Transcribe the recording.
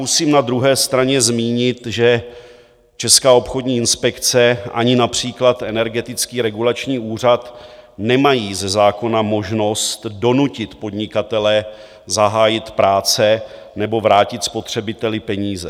Musím na druhé straně zmínit, že Česká obchodní inspekce ani například Energetický regulační úřad nemají ze zákona možnost donutit podnikatele zahájit práce nebo vrátit spotřebiteli peníze.